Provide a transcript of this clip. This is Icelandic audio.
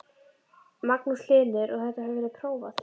Magnús Hlynur: Og þetta hefur verið prófað?